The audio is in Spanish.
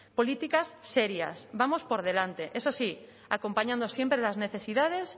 políticas serias vamos por delante eso sí acompañando siempre las necesidades